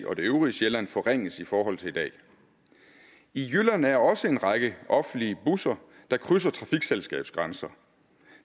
og det øvrige sjælland forringes i forhold til i dag i jylland er der også en række offentlige busser der krydser trafikselskabsgrænser